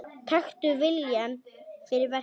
Taktu viljann fyrir verkið.